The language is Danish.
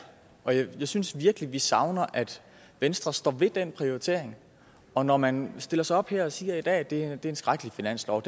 og jeg synes virkelig vi savner at venstre står ved den prioritering og når man stiller sig op her og siger at det er en skrækkelig finanslov og